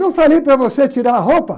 Não falei para você tirar a roupa?